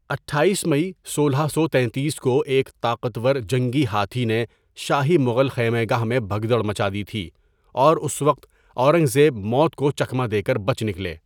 اٹھایس مئی سولہ سو تینتیس کو ایک طاقتور جنگی ہاتھی نے شاہی مغل خیمہ گاہ میں بھگدڑ مچادی تھی، اور اس وقت اورنگ زیب موت کو چکمہ دے کر بچ نکلے ۔